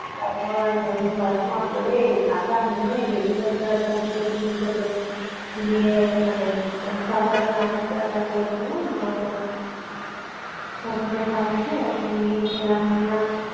তারপর ওই চশমা পরে ছাতা নিয়ে বেরিয়ে পড়তাম হয়তো tiffin খেতে গিয়ে মানে আহ সকালের নাস্তাটা করলাম নয়তো সমুদ্রের পাড়ে গিয়ে ওখানে গিয়ে খেলাম দেলাম।